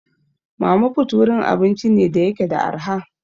Mama put wurin abinci ne da yake da arha.